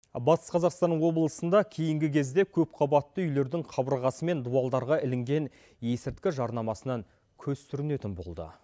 батыс қазақстан облысында кейінгі кезде көп қабатты үйлердің қабырғасы мен дуалдарға ілінген есірткі жарнамасынан көз сүрінетін болды